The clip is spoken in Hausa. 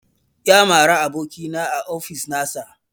Ya mara abokina a ofis nasa